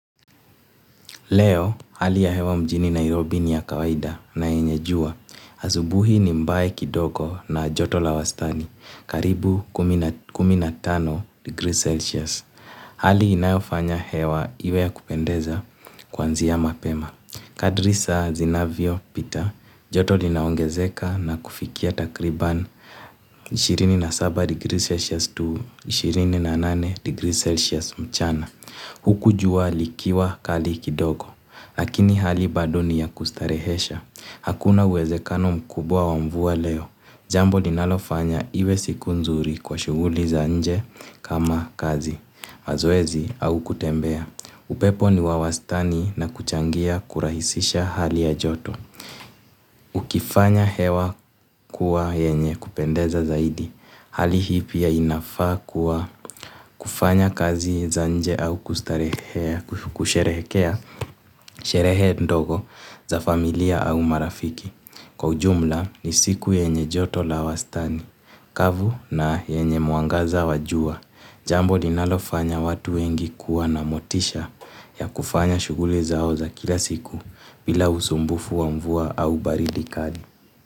Leo hali ya hewa mjini Nairobi ni ya kawaida na yenye jua azubuhi ni mbae kidogo na joto la wastani karibu kumi na tano degrees celsius. Hali inayofanya hewa iwe ya kupendeza kwanzia mapema. Kadri saa zinavyopita joto linaongezeka na kufikia takriban ishirini na saba degrees celsius to ishirini na nane degrees celsius mchana. Huku jua likiwa kali kidogo, lakini hali bado ni ya kustarehesha. Hakuna uwezekano mkubwa wa mvua leo. Jambo ninalofanya iwe siku nzuri kwa shughuli za nje kama kazi. Mazoezi au kutembea. Upepo ni wa wastani na kuchangia kurahisisha hali ya joto. Ukifanya hewa kuwa yenye kupendeza zaidi. Hali hii pia inafaa kwa kufanya kazi za nje au kustarehea, kusherehekea, sherehe ndogo za familia au marafiki. Kwa ujumla ni siku yenye joto la wastani, kavu na yenye mwangaza wa jua. Jambo linalofanya watu wengi kuwa na motisha ya kufanya shughuli zao za kila siku bila usumbufu wa mvua au baridi kali.